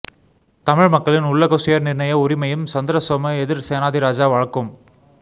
தமிழ் மக்களின் உள்ளக சுயநிர்ணய உரிமையும் சந்திரசோம எதிர் சேனாதிராஜா வழக்கும்